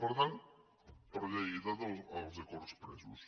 per tant per lleialtat als acords presos